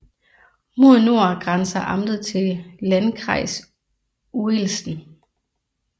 Mod nord grænser amtet til Landkreis Uelzen